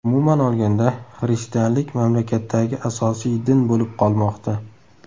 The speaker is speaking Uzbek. Umuman olganda, xristianlik mamlakatdagi asosiy din bo‘lib qolmoqda.